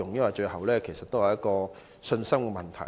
說到最後，這也是信心問題。